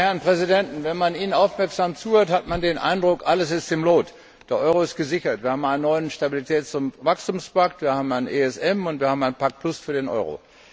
Meine Herren Präsidenten, wenn man Ihnen aufmerksam zuhört, hat man den Eindruck, alles ist im Lot Der Euro ist gesichert, wir haben einen neuen Stabilitäts und Wachstumspakt, wir haben einen ESM, und wir haben einen Plus Pakt für den Euro.